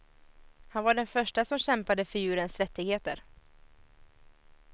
Han var den förste som kämpade för djurens rättigheter.